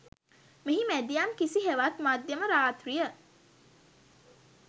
මෙහි මැදියම් කිස හෙවත් මධ්‍යම රාත්‍රිය